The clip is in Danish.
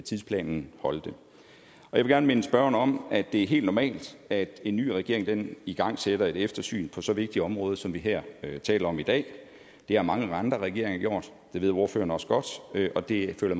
tidsplanen holdt jeg vil gerne minde spørgeren om at det er helt normalt at en ny regering igangsætter et eftersyn på så vigtigt et område som vi her taler om i dag det har mange andre regeringer gjort det ved ordføreren også godt og det føler